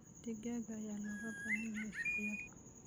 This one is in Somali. Digaagga ayaa looga baahan yahay suuqyada.